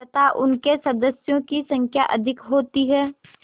तथा उनके सदस्यों की संख्या अधिक होती है